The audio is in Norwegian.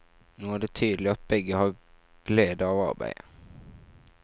Nå er det tydelig at begge har glede av arbeidet.